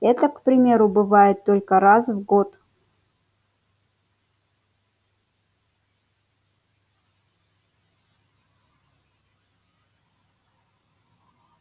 эта к примеру бывает только раз в год